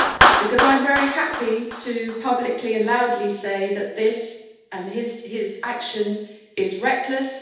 because I am very happy to publicly and loudly say that this, and his action, is reckless.